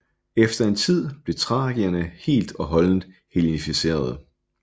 Efter en tid blev thrakerne helt og holdent hellenificerede